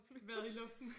Været i luften